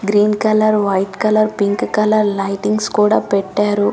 Green colour white colour pink colour లియుట్లింగ్స్ కూడా పెట్టారు.